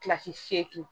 Kilasi seegin